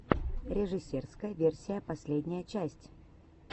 режиссерская версия последняя часть